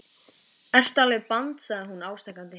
Ertu alveg band sagði hún ásakandi.